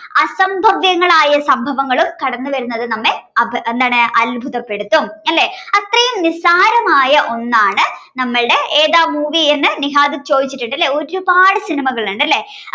സംഭവങ്ങളും കടന്നുവരുന്നത്‌ നമ്മളെ എന്താണ് അത്ഭുതപ്പെടുത്തും അല്ലെ. അത്രയും നിസ്സാരമായ ഒന്നാണ് നമ്മളുടെ ഏതാ movie എന്ന നിഹാദ് ചോദിച്ചിട്ടുണ്ടല്ലേ